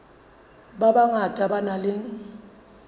ba bangata ba nang le